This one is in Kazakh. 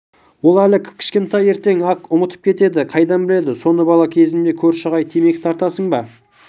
ол әлі кіп-кішкентай ертең-ақ ұмытып кетеді қайдан біледі соны бала кезімде көрші ағай темекі тартасың ба